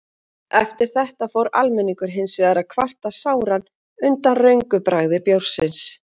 Eftir þetta fór almenningur hins vegar að kvarta sáran undan röngu bragði bjórsins.